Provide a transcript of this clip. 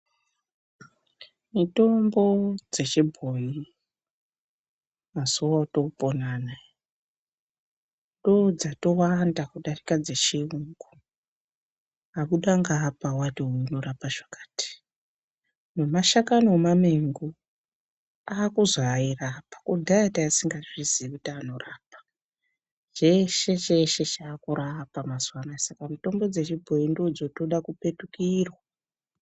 Mitombo dzechibhoyi mazuwa otopona anaya ndodzatowanda kudarika dzechiyungu, wabuda ngeapa wati uyu unorapa chakati nomashakani omamengo akuzi airapa kudhaya tangatisingazvizii kuti anorapa cheshe cheshe chakurapa mazuwanaya Saka mitombo dzechibhoyi dzotoda kupetukirwa.